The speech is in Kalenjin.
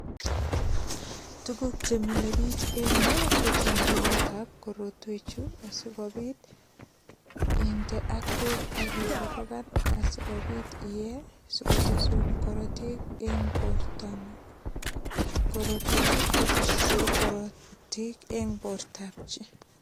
Tuguk che mile biich en yu kochomganetab korotwechu asigopit inde ak beek ak ikorogan adigopit iyee sikotesun korotik eng bortangun. Korotwechu kotese korotik eng bortab chi.